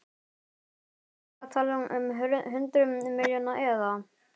Bryndís: Eru þið að tala um hundruð milljóna eða?